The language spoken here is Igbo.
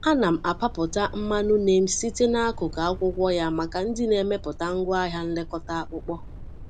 Ana m apapụta mmanụ neem site n’akụkụ akwụkwọ ya maka ndị na-emepụta ngwaahịa nlekọta akpụkpọ.